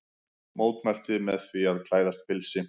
Mótmælti með því að klæðast pilsi